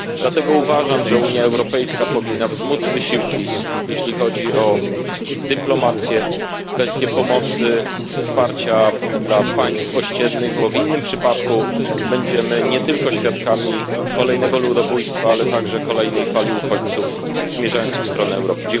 Dlatego uważam, że Unia Europejska powinna wzmóc wysiłki, jeśli chodzi o dyplomację, kwestię pomocy, wsparcia dla państw ościennych, bo w innym przypadku będziemy nie tylko świadkami kolejnego ludobójstwa, ale także kolejnej fali uchodźców zmierzających w stronę Europy.